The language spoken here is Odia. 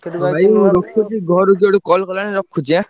ହଉ ଭାଇ ମୁଁ ରଖୁଛି ଘରୁ କିଏ ଗୋଟେ call କଲାଣି ରଖୁଛି ଆଁ?